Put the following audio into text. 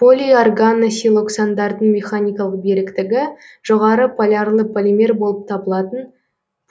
полиорганосилоксандардың механикалық беріктігі жоғары полярлы полимер болып табылатын